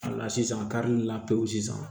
Wala sisan karili la pewu sisan